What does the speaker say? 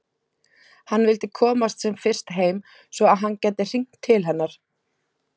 Hann vildi komast sem fyrst heim svo að hann gæti hringt til hennar.